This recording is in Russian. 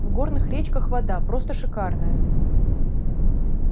в горных речках вода просто шикарная